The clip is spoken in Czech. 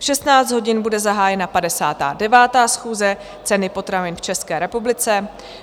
V 16 hodin bude zahájena 59. schůze, Ceny potravin v České republice.